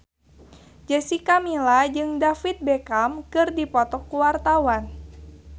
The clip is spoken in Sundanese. Jessica Milla jeung David Beckham keur dipoto ku wartawan